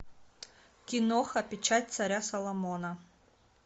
киноха печать царя соломона